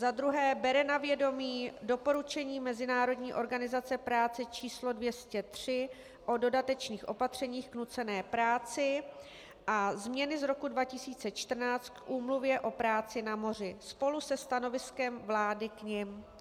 Za druhé, bere na vědomí Doporučení Mezinárodní organizace práce č. 203 o dodatečných opatřeních k nucené práci a Změny z roku 2014 k Úmluvě o práci na moři spolu se stanoviskem vlády k nim.